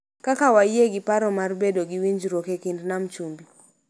Kaka wayie gi paro mar bedo gi winjruok e kind Nam Chumbi,